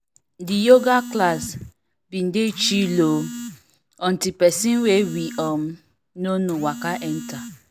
the yoga class been dey chill o until person wey we um no know waka enter